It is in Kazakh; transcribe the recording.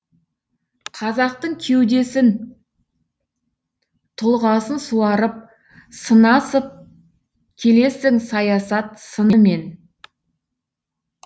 қазақтың кеудесін тұлғасын суарып сынасып келесің саясат сынымен